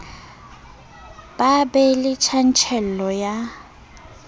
ba be le tjantjello ya